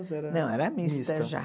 Ou se era... Não, era mista já.